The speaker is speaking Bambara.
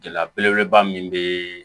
Gɛlɛya belebeleba min bɛ